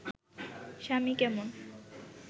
স্বামী কেমন